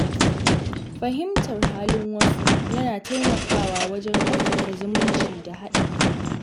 Fahimtar halin wasu yana taimakawa wajen ƙarfafa zumunci da haɗin kai.